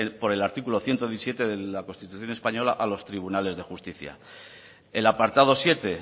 por el artículo ciento diecisiete de la constitución española a los tribunales de justicia el apartado siete